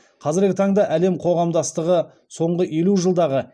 қазіргі таңда әлем қоғамдастығы соңғы елу жылдағы